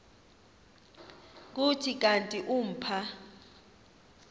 kuthi kanti umpha